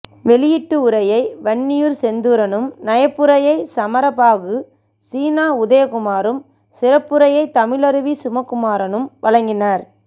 வெளியீட்டு உரையை வன்னியூர் செந்தூரனும் நயப்புரையை சமரபாகு சீனா உதயகுமாரும் சிறப்புரையை தமிழருவி சிவகுமாரனும் வழங்கினர்